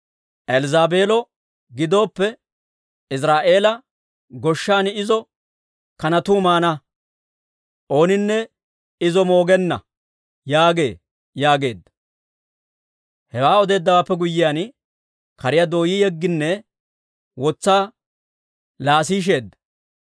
Elzzaabeelo gidooppe, Iziraa'eela goshshan izo kanatuu maana; ooninne izo moogenna› yaagee» yaageedda. Hewaa odeeddawaappe guyyiyaan, kariyaa dooyi yegginne wotsaa laasiisheedda.